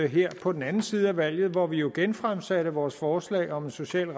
her på den anden side af valget hvor vi jo genfremsatte vores forslag om en social